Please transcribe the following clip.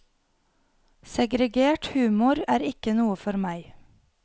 Segregert humor er ikke noe for meg.